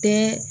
Bɛɛ